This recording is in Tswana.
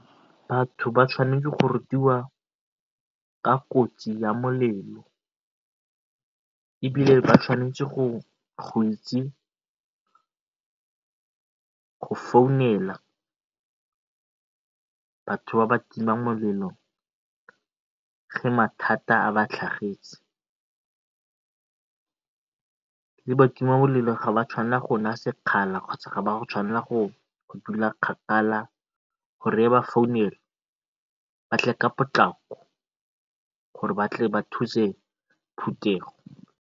Batho ba tshwanetse go rutiwa ka kotsi ya molelo, ebile ba tshwanetse go itse go founela batho ba ba timang molelo ge mathata a ba tlhagetse. Mme batimamolelo ga ba tshwanelwa go nna sekgala kgotsa ga ba tshwanela go dula kgakala gore ge ba founelwa ba tle ka potlako gore ba tle ba thuse